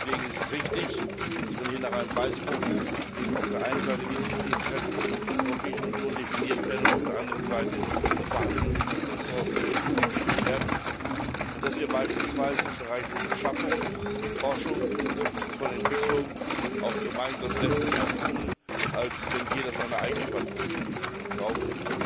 Deswegen ist es richtig, dass man hier nach einem Weißbuch ruft, in dem auf der einen Seite die Ziele und Interessen der Europäischen Union definiert und auf der anderen Seite die vorhandenen Mittel und Ressourcen dazu verknüpft werden, und dass wir beispielsweise im Bereich von Beschaffung, von Forschung, von Entwicklung auch gemeinsam sehr viel mehr tun, als wenn jeder seine eigenen Patronen entwickelt und kauft.